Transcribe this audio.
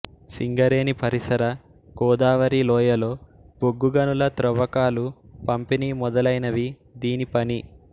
సింగరేణి పరిసర గోదావరీ లోయలో బొగ్గు గనుల త్రవ్వకాలు పంపిణి మొదలైనవి దీని పని